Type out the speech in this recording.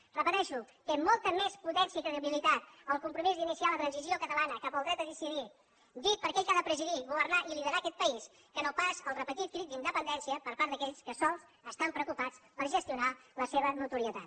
ho repeteixo té molta més potència i credibilitat el compromís d’iniciar la transició catalana cap al dret a decidir dit per aquell que ha de presidir governar i liderar aquest país que no pas el repetit crit d’independència per part d’aquells que sols estan preocupats per gestionar la seva notorietat